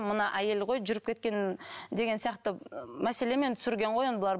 мына әйел ғой жүріп кеткен деген сияқты мәселемен түсірген ғой енді бұлар